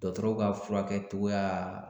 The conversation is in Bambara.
Dɔgɔtɔrɔw ka furakɛcogoya